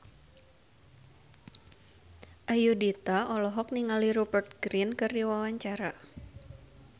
Ayudhita olohok ningali Rupert Grin keur diwawancara